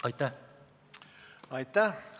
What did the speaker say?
Aitäh!